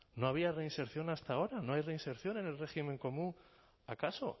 no había reinserción hasta ahora no hay reinserción en el régimen común acaso